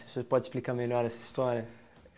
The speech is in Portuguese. Você pode explicar melhor essa história?